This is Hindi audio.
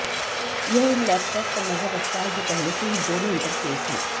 यह उन लैपटॉप पर नजर रखता है जो पहले से ही दोनों इंटरफेस हैं